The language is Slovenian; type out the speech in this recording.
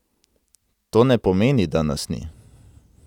To ne pomeni, da nas ni.